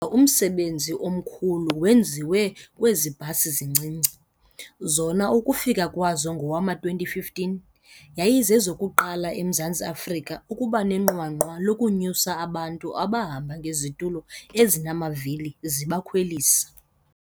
Kodwa umsebenzi omkhulu wenziwe kwezi bhasi zincinci, zona ukufika kwazo ngowama-2015, yayizezokuqala eMzantsi Afrika ukuba nenqwanqwa lokunyusa abantu abahamba ngezitulo ezinamavili zibakhwelisa.